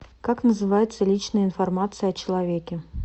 как называется личная информация о человеке